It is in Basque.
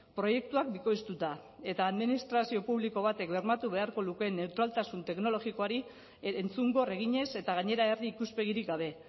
proiektuak bikoiztuta eta administrazio publiko batek bermatu beharko lukeen neutraltasun teknologikoari entzungor eginez eta gainera herri ikuspegirik gabe